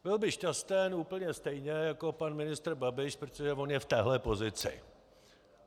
Byl by šťasten úplně stejně jako pan ministr Babiš, protože on je v téhle pozici.